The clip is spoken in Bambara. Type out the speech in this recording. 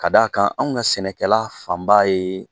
Ka d'a kan anw ka sɛnɛkɛla fanba ye